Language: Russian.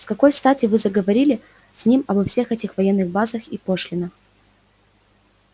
с какой стати вы заговорили с ним обо всех этих военных базах и пошлинах